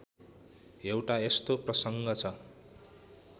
एउटा यस्तो प्रसङ्ग छ